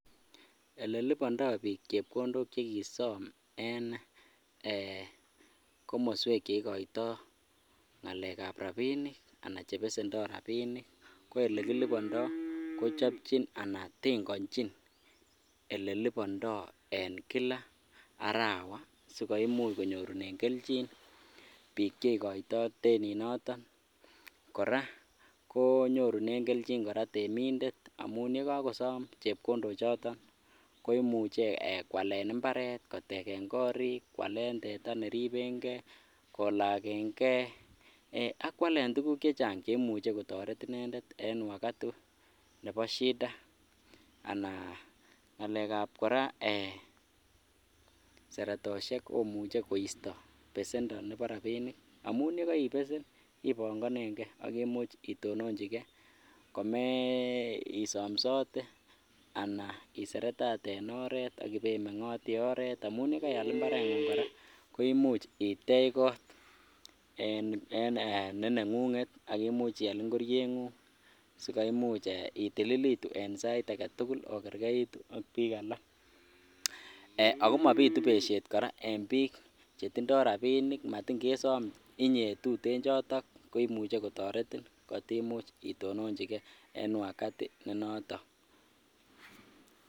Elelibondo biik chepkondok chekisom en eeh komoswek cheikoito ng'alekab rabinik anan chebesendo rabinik ko elekilibondo kochopchin anan tengonchin elelibondo en kila arawa sikoimuch konyorunen kelchin biik cheikoto teninoton kora konyorunen kelchin temindet amun yekokosom chepkondo choton ko imuchu kwalen imbaret, koteken korik, kwalen teta keribeng'e, kolakeng'e ak kwalen tukuk chechang cheimuche kotoret inendet en wakati nebo shida anan ng'alekab seretoshek komuche koisto besendo nebo rabinik amun yekoibesen ibong'oneng'e ak itononchikee kome somsote anan iseretate en oreet ak ibemeng'otii oreet amun yekaial imbareng'ung kora ko imuch itech koot ne neng'ung'et imuch ial ing'orieng'ung sikoimuch itililitu en sait aketukul okerkeitu ak biik alak, ak ko mobitu beshet kora en biik chetindo rabinik matin kesom inyee tuten chotok koimuche kotoretin kotimuch itononchike en wakati ne noton.